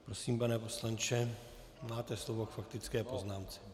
Prosím, pane poslanče, máte slovo k faktické poznámce.